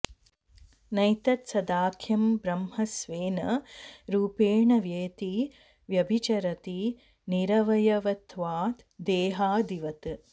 नैतत् सदाख्यं ब्रह्म स्वेन रूपेण व्येति व्यभिचरति निरवयवत्वात् देहादिवत्